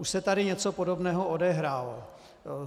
Už se tady něco podobného odehrálo.